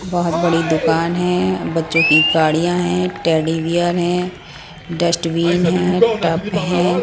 बहुत बड़ी दुकान है बच्चों की गाड़ियां हैं टेडी बेयर है डस्टबीन है टप है.